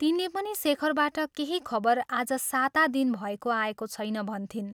तिनले पनि शेखरबाट केही खबर आज साता दिन भएको आएको छैन भन्थिन्।